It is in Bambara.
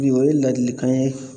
Bi o ye ladilikan ye